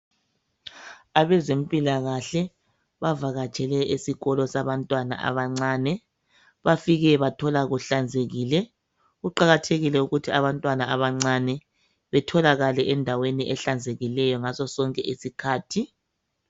Abezempilakahle bavakatshele esikolo sabantwana abancane bafike bathola kuhlanzekile. Kuqakathekile ukuthi abantwana abancane betholakale endaweni ehlanzekileyo ngaso sonke isikhathi.